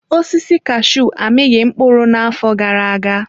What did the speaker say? Osisi kashuu amịghị mkpụrụ n'afọ gara aga.